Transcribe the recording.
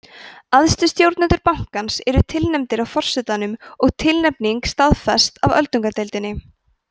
æðstu stjórnendur bankans eru tilnefndir af forsetanum og tilnefningin staðfest af öldungadeildinni